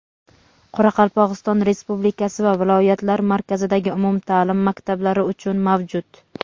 Qoraqalpog‘iston Respublikasi va viloyatlar markazidagi umumtaʼlim maktablari uchun mavjud.